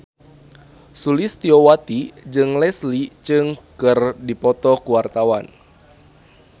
Sulistyowati jeung Leslie Cheung keur dipoto ku wartawan